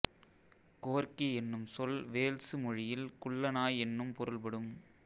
corgi என்னும் சொல் Wales மொழியில் குள்ள நாய் என்னும் பொருள்படும்